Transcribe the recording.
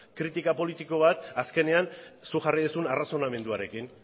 kritika politika bat azkenean zuk jarri duzun arrazonamenduarekin